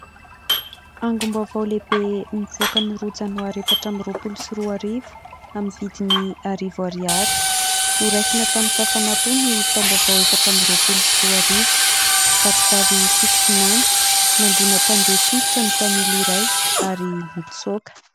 Angom-baovao lehibe nivoaka ny roa janoary efatra amby roapolo sy roa arivo amin'ny vidiny arivo ariary. Noraisina tamin-kafanampo ny taom-baovao efatra amby roapolo sy roa arivo. Vatovavy Fitovinany : nandona mpandeha tongotra ny mpamily iray ary nitsaoka.